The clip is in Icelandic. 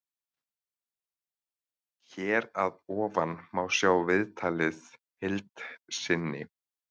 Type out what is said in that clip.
Hér að ofan má sjá viðtalið heild sinni.